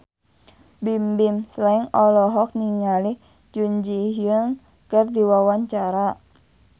Bimbim Slank olohok ningali Jun Ji Hyun keur diwawancara